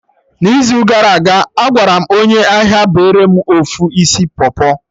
n'izu gara aga, Agwaram onye ahia bere mụ ofu isi pọpọ